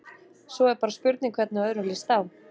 Svo er bara spurning hvernig öðrum lýst á?